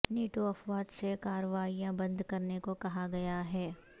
NATO افواج سے کارروائیاں بند کرنے کو کہا گیا ہے